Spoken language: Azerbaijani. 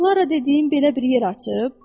O Klara dediyin belə bir yer açıb.